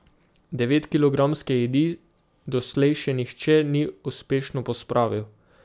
Devetkilogramske jedi doslej še nihče ni uspešno pospravil.